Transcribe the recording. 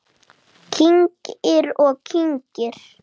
Kyngir og kyngir.